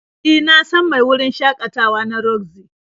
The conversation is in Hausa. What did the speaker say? E, na san mai wurin shakatawa na roxy.